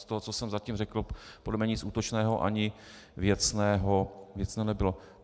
Z toho, co jsem zatím řekl, podle mne nic útočného ani věcného nebylo.